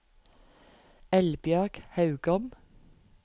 Elbjørg Haugom